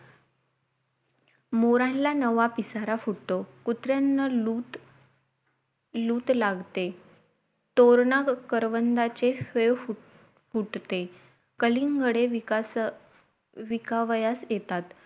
मोरांना नवा पिसारा फुटतो कुत्र्यांना लुट लुट लागते तोरणा करवंदाचे फाय फुट्ट फुटते कलिंगडे विकास विकावयास येतात